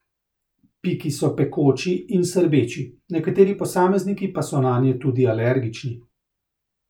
Piki so pekoči in srbeči, nekateri posamezniki pa so nanje tudi alergični.